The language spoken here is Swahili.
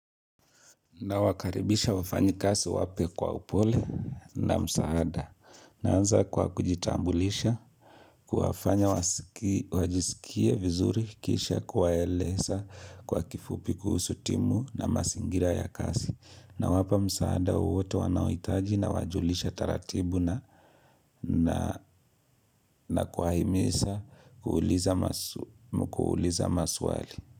Nawakaribisha wafanyikazi wapya kwa upole na msaada naanza kwa kujitambulisha kuwafanya wajisikie vizuri kisha kuwaeleza kwa kifupi kuhusu timu na mazingira ya kazi nawapa msaada wowote wanaohitaji nawajulisha taratibu na na kuwahimiza kuuliza maswali.